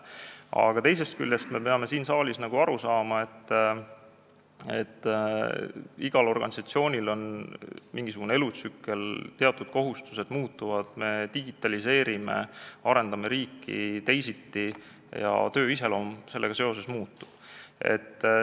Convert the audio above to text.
Aga teisest küljest me peame siin saalis aru saama, et igal organisatsioonil on mingisugune elutsükkel, teatud kohustused muutuvad, me digitaliseerime, arendame riiki ja töö iseloom muutub.